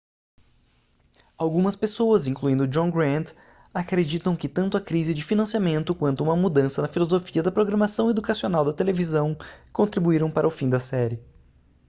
algumas pessoas incluindo john grant acreditam que tanto a crise de financiamento quanto uma mudança na filosofia da programação educacional da televisão contribuíram para o fim da série